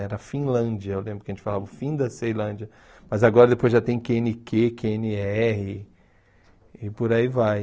Era Finlândia, eu lembro que a gente falava o fim da Ceilândia, mas agora depois já tem quê ene quê, quê ene erre e por aí vai.